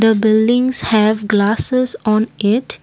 the buildings have glasses on it.